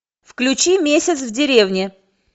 включи месяц в деревне